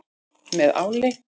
Með áli.